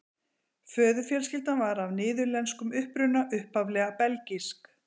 Föðurfjölskyldan var af niðurlenskum uppruna, upphaflega belgísk.